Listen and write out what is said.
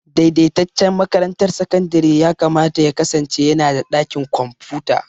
Daidaitaccen makarantar sakandare yakamata ya kasance yana da ɗakin kwamfuta.